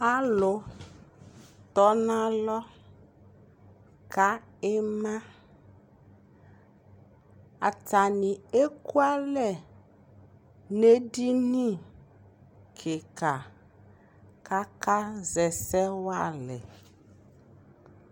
Alutɔnalɔka imaa atanii ekwalɛ nu edinikikaa kaka ʒɛsɛ walɛ